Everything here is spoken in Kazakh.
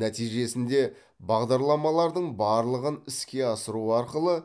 нәтижесінде бағдарламалардың барлығын іске асыру арқылы